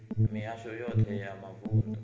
mihasho yoṱhe ya mavun ḓu